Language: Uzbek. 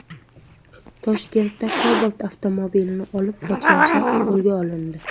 Toshkentda Cobalt avtomobilini olib qochgan shaxs qo‘lga olindi.